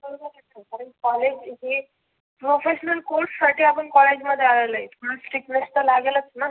College professional course साठी आपण college मध्ये आलेलो आहे मग strictness तर लागेलचना.